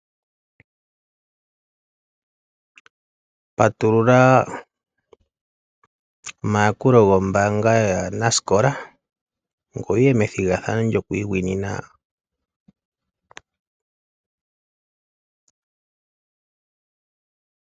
Patulula omayakulo gombanga yanasikola ngwe wuye methigathano lyoku isindanena.